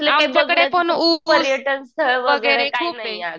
आमच्याकडे पण ऊस वगैरे खूप ये.